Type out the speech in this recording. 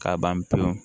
K'a ban pewu